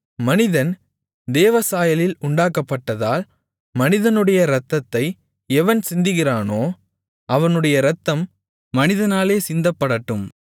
மனிதன் தேவசாயலில் உண்டாக்கப்பட்டதால் மனிதனுடைய இரத்தத்தை எவன் சிந்துகிறானோ அவனுடைய இரத்தம் மனிதனாலே சிந்தப்படட்டும்